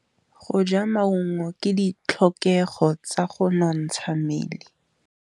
Go ja maungo ke ditlhokegô tsa go nontsha mmele.